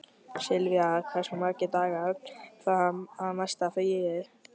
Silvía, hversu margir dagar fram að næsta fríi?